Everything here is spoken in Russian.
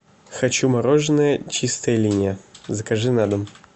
хочу мороженое чистая линия закажи на дом